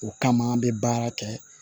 O kama an bɛ baara kɛ